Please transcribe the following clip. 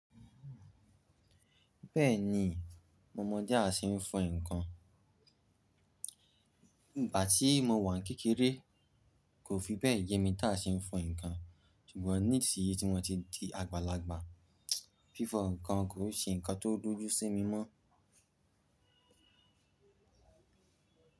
Bẹ́ẹ̀ni, mọmo dé á ṣeé fọn ǹkan. Ìgbà tí mo wà ní kékeré, kò fi bẹ́ẹ̀ yemi tá ṣeé fọn ǹkan, ṣùgbọ́n ní ìsíyi tí mo ti di àgbàlagbà, fífọ ǹkan kò ṣeé ǹkan tó dúdú sí mi mọ́